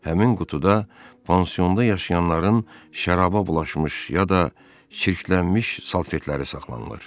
Həmin qutuda pansionda yaşayanların şərafa bulaşmış ya da çirklənmiş salfetləri saxlanılır.